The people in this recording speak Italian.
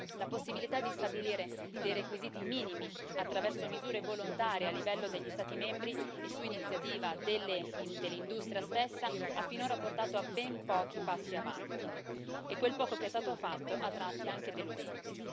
La possibilità di stabilire dei requisiti minimi attraverso misure volontarie a livello degli Stati membri e su iniziativa dell'industria stessa ha finora portato a ben pochi passi avanti e quel poco che è stato fatto a tratti è anche deludente.